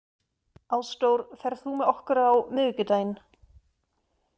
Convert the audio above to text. Ásdór, ferð þú með okkur á miðvikudaginn?